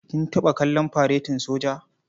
Kin taɓa kallon faretin soja?